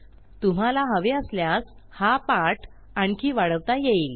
तुम्हाला हवे असल्यास हा पाठ आणखी वाढवता येईल